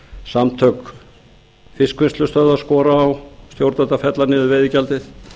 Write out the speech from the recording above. samtök fiskvinnslustöðva skora á stjórnvöld að fella niður veiðigjaldið